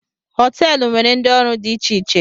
Họteelu nwere ndị ọrụ dị iche iche